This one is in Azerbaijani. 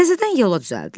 Təzədən yola düzəltdilər.